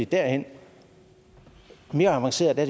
derhen mere avanceret er